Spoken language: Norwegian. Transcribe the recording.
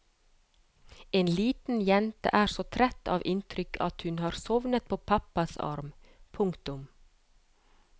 En liten jente er så trett av inntrykk at hun har sovnet på pappas arm. punktum